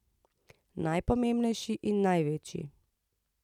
Najpomembnejši in največji.